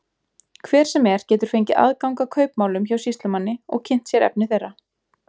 Hver sem er getur fengið aðgang að kaupmálum hjá sýslumanni og kynnt sér efni þeirra.